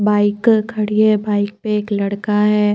Bike खड़ी है bike पे एक लड़का है।